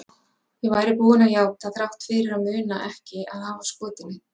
Ég væri búin að játa þrátt fyrir að muna ekki að hafa skotið neinn.